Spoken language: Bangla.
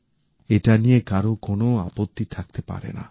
এটা নিয়ে কারো কোনো আপত্তি থাকতে পারে না